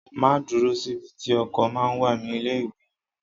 Máa dúró síbi tí ọkọ̀ ma ń wà ní ilé ìwé yín.